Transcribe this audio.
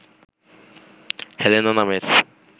Helena নামের